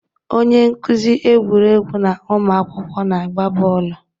Onye nkuzi egwuregwu na ụmụ akwụkwọ na-agba bọọlụ.